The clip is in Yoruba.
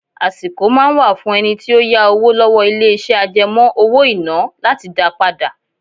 Àsìkò máa ń wà fún ẹni tí ó yá owó lọ́wọ́ ilé iṣẹ́ àjẹmó owó-ìná láti dá padà.